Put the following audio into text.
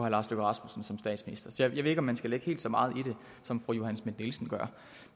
lars løkke rasmussen som statsminister så jeg ved ikke om man skal lægge helt så meget i det som fru johanne schmidt nielsen gør